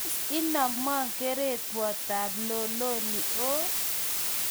Tos, inamwoo kereywotab loloni oo?